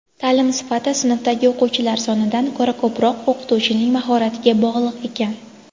taʼlim sifati sinfdagi o‘quvchilar sonidan ko‘ra ko‘proq o‘qituvching mahoratiga bog‘liq ekan.